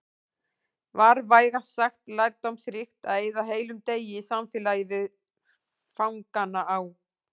Var vægast sagt lærdómsríkt að eyða heilum degi í samfélagi við fangana á